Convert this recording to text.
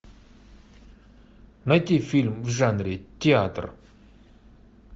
найти фильм в жанре театр